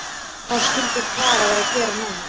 Hvað skyldi Klara vera að gera núna?